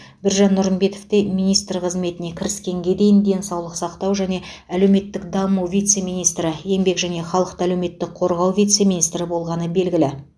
біржан нұрымбетов те министр қызметіне кіріскенге дейін денсаулық сақтау және әлеуметтік даму вице министрі еңбек және халықты әлеуметтік қорғау вице министрі болғаны белгілі